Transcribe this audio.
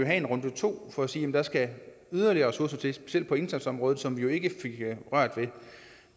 have en runde to for at sige at der skal yderligere ressourcer til specielt på indsatsområdet som vi jo ikke fik rørt ved